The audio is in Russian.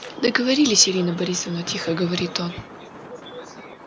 договорились ирина борисовна тихо говорит он